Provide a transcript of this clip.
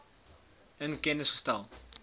in kennis gestel